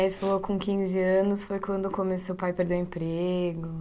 E aí, você falou com quinze anos foi quando começou, seu pai perdeu o emprego.